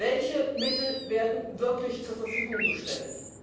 Welche Mittel werden wirklich zur Verfügung gestellt?